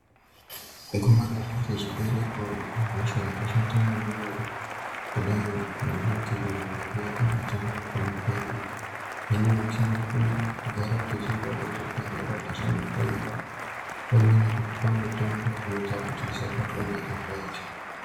Ngomarara rechibereko ihosha yakashata maningi kudai ngekuti kana ichinge yakubata mukupona kwedu hino tinovanira kugara tichienda kuzvibhedhlera kunohloyiwa unoine kupuwa mutombo unoita kuti usabatwa nechirwere ichi.